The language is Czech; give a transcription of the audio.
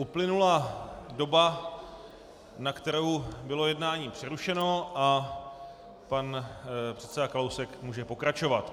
Uplynula doba, na kterou bylo jednání přerušeno, a pan předseda Kalousek může pokračovat.